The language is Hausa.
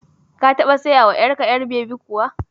Ka taɓa sayawa ƴar ka ƴar babi kuwa?